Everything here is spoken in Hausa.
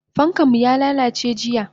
Fankanmu yalalace jiya.